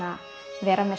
vera með